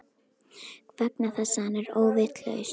Vegna þess að hann er óvitlaus.